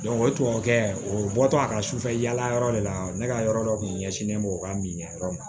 o tubabukɛ o bɔtɔ a ka sufɛ yala yɔrɔ de la ne ka yɔrɔ dɔ kun ɲɛsinnen bɛ o ka min ɲɛyɔrɔ ma